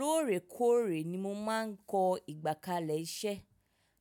Lóòrèkóòrè ni mo máa ń kọ́ ìgbàkalẹ̀ iṣẹ́.